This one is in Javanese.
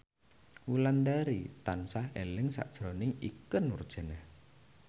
Wulandari tansah eling sakjroning Ikke Nurjanah